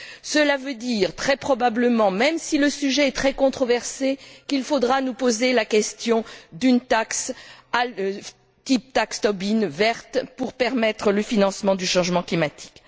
Cela veut dire, très probablement, même si le sujet est très controversé, qu'il faudra nous poser la question d'une taxe, type taxe Tobin verte, pour permettre le financement du changement climatique.